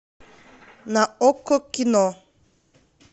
на окко кино